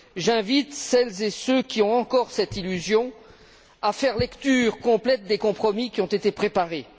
J'invite celles et ceux qui ont encore cette illusion à faire une lecture complète des compromis qui ont été préparés.